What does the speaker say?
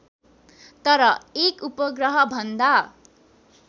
तर एक उपग्रहभन्दा